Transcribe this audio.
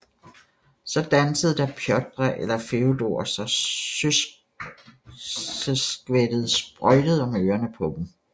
Så dansede da Pjotr eller Feodor så søleskvættet sprøjtede om ørerne på dem